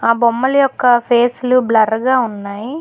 బొమ్మలు యొక్క ఫేసులు బ్లర్ గా ఉన్నాయి.